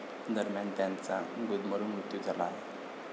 दरम्यान, त्यांचा गुदमरून मृत्यू झाला आहे.